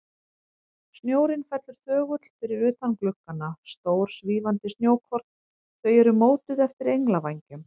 Snjórinn fellur þögull fyrir utan gluggana, stór, svífandi snjókorn, þau eru mótuð eftir englavængjum.